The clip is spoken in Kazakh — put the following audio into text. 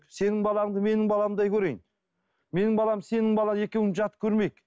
сенің балаңды менің баламдай көрейін менің балам сенің балаң екеуін жат көрмейік